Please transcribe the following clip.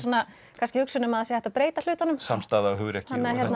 kannski hugsun um að það sé hægt að breyta hlutunum samstaða hugrekki